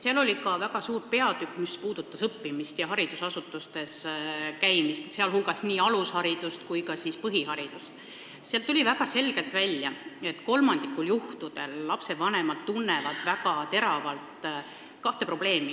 Selles on väga suur peatükk, mis puudutab õppimist ja haridusasutustes käimist, sh nii alusharidust kui ka põhiharidust, ning väga selgelt tuli välja, et kolmandikul juhtudel tunnetavad lapsevanemad väga teravalt kahte probleemi.